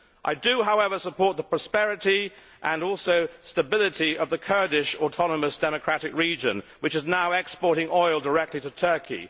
I do, however, support the prosperity and stability of the Kurdish autonomous democratic region, which is now exporting oil directly to Turkey.